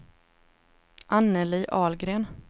Anneli Ahlgren